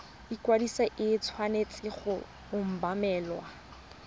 ikwadiso e tshwanetse go obamelwa